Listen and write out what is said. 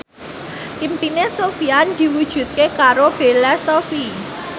impine Sofyan diwujudke karo Bella Shofie